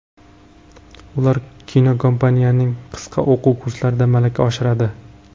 Ular kinokompaniyaning qisqa o‘quv kurslarida malaka oshiradi.